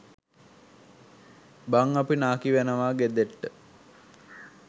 බං අපි නාකි වෙනවා ගෙදට්ට